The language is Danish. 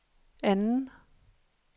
anden